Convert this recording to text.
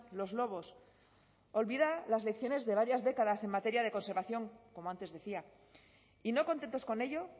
los lobos olvida las lecciones de varias décadas en materia de conservación como antes decía y no contentos con ello